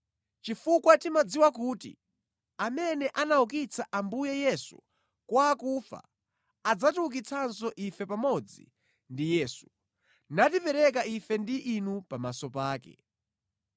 chifukwa timadziwa kuti amene anaukitsa Ambuye Yesu kwa akufa adzatiukitsanso ife pamodzi ndi Yesu, natipereka ife ndi inu pamaso pake.